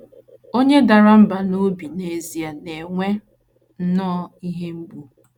Onye dara mbà n’obi n’ezie na - enwe nnọọ ihe mgbu.